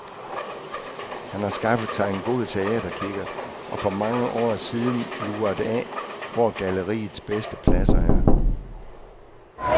Han har skaffet sig en god teaterkikkert og for mange år siden luret af, hvor galleriets bedste pladser er.